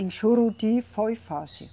Em Juruti foi fácil.